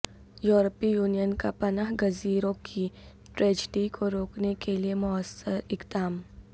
یورپی یونین کا پناہ گزینوں کی ٹریجڈی کو روکنےکےلیے موثر اقدام